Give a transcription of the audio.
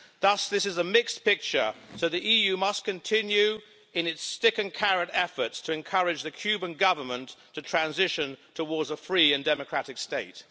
Thus, this is a mixed picture, so the EU must continue in its stick-and-carrot efforts to encourage the Cuban Government to transition towards a free and democratic state.